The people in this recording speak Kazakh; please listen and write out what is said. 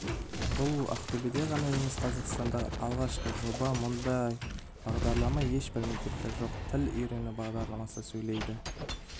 бұл ақтөбеде ғана емес қазақстандағы алғашқы жоба мұндай бағдарлама ешбір мектепте жоқ тіл үйрену бағдарламасы сөйлеуді